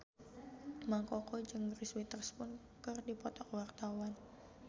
Mang Koko jeung Reese Witherspoon keur dipoto ku wartawan